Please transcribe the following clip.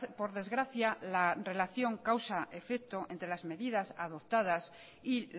por desgracia la relación causa efecto entre las medidas adoptadas y